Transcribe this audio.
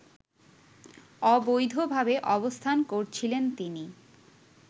অবৈধভাবে অবস্থান করছিলেন তিনি